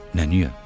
Nə niyə?